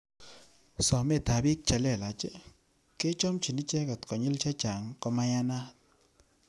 Sometab bik che lelach, kechomchin icheket konyil chechang komayanat.